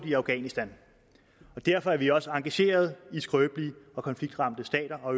i afghanistan derfor er vi også engagerede i skrøbelige og konfliktramte stater og